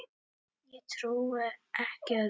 Ég trúi ekki öðru.